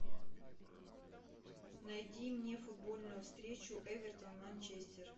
найди мне футбольную встречу эвертон манчестер